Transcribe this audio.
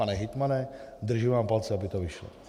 Pane hejtmane, držím vám palce, aby to vyšlo.